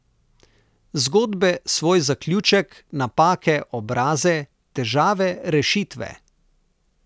Zgodbe svoj zaključek, napake obraze, težave rešitve.